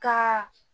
Ka